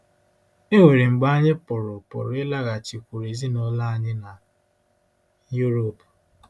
E nwere mgbe anyị pụrụ pụrụ ịlaghachikwuru ezinụlọ anyị na Europe.